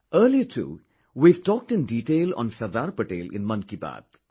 Earlier too, we have talked in detail on Sardar Patel in Mann Ki Baat